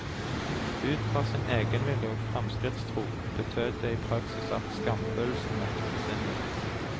Ut fra sin egenvilje og fremskrittstro betød det i praksis at skamfølelsen måtte forsvinne.